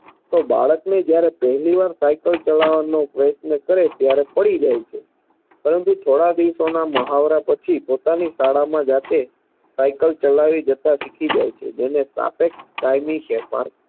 તો બાળકને જ્યારે પહેલી વાર સાયકલ ચલાવવાનો પ્રયત્ન કરે ત્યારે પડી જાય છે પરંતુ થોડા દિવસોના મહાવરા પછી પોતાની શાળામાં જાતે સાયકલ ચલાવી જતાં શીખી જાય છે જેને સાપેક્ષ કાયમી ફેરફાર